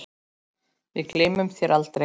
Við gleymum þér aldrei.